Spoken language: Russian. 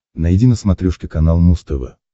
найди на смотрешке канал муз тв